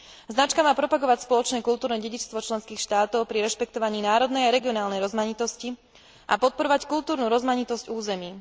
Značka má propagovať spoločné kultúrne dedičstvo členských štátov pri rešpektovaní národnej a regionálnej rozmanitosti a podporovať kultúrnu rozmanitosť území.